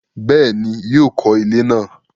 Bẹ́ẹ̀ni, yóò kọ ilẹ́ náà